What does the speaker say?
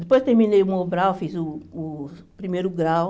Depois terminei o Mobral, fiz uh o primeiro grau.